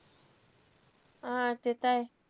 हां. ते त आहे.